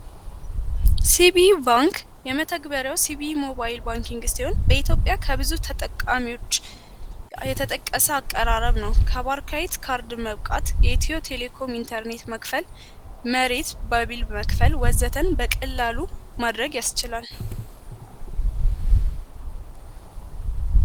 ሲቪ ባንክ የመተግበሪያው ሲቪ ሞባይል ባንኪnግ ስሆን በኢትዮጵያ ከብዙ ተጠቃሚዎች የተጠቀሰ አቀራረብ ነው። ከባርካይት ካርድ መብቃት የኤቲዮ ቴሌኮም ኢንተርኔት መክፈል መሬት በቢል መክፈል ወዘተን በቅላሉ ማድረግ ያስችላል።